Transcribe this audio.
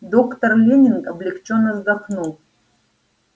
доктор лэннинг облегчённо вздохнул